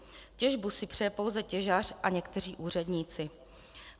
Těžbu si přeje pouze těžař a někteří úředníci.